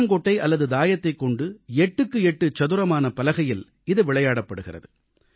புளியங்கொட்டை அல்லது தாயத்தைக் கொண்டு 8 எக்ஸ் 8 சதுரமான பலகையில் இது விளையாடப்படுகிறது